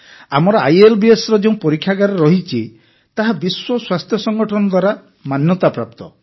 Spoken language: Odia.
ଆମର ଆଇଏଲବିଏସର ଯେଉଁ ପରୀକ୍ଷାଗାର ରହିଛି ତାହା ବିଶ୍ୱ ସ୍ୱାସ୍ଥ୍ୟ ସଂଗଠନ ଦ୍ୱାରା ମାନ୍ୟତାପ୍ରାପ୍ତ